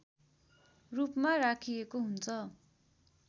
रूपमा राखिएको हुन्छ